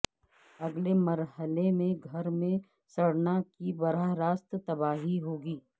اگلے مرحلے میں گھر میں سڑنا کی براہ راست تباہی ہوگی